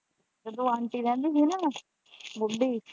ਜਦੋਂ ਆਂਟੀ ਰਹਿੰਦੀ ਹੀ ਨਾ ਬੁੱਢੀ।